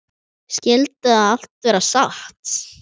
Skyldi það allt vera satt?